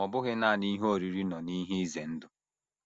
Ma ọ bụghị nanị ihe oriri nọ n’ihe ize ndụ.